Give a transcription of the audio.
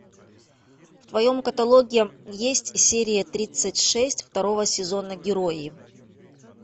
в твоем каталоге есть серия тридцать шесть второго сезона герои